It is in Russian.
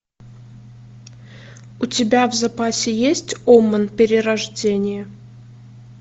у тебя в запасе есть омен перерождение